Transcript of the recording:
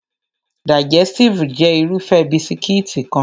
Digẹstive jẹ́ Irúfẹ́ bisikíìtì kan